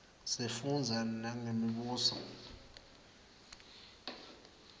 sifundza nangemibuso